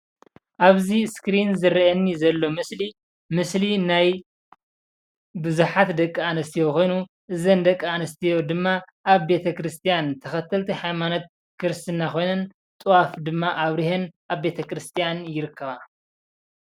እዚ ምስሊ ናይ ደቂ ኣንስትዮ ኣብ ቤተክርስትያን ጥዋፍ ኣብሪሀን ፀሎት የብፅሓ ኣለዋ።